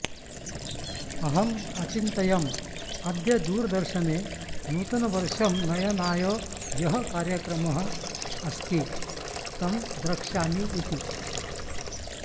अहं अचिन्तयं अद्य दूरदर्शने नूतनवर्षं नयनाय यः कार्यक्रमः अस्ति तं द्रक्ष्यामि इति